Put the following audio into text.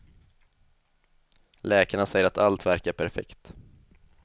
Läkarna säger att allt verkar perfekt.